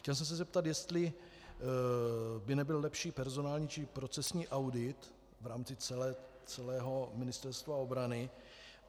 Chtěl jsem se zeptat, jestli by nebyl lepší personální či procesní audit v rámci celého Ministerstva obrany.